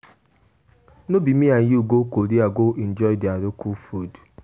No be me and you go Korea go enjoy their local food?